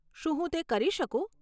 શું હું તે કરી શકું?